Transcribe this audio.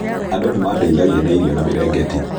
Andũ nĩ maandeithagia na irio na mirengeti.